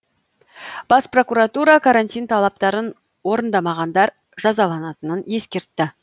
бас прокуратура карантин талаптарын орындамағанадар жазаланатынын ескертті